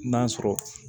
N'a sɔrɔ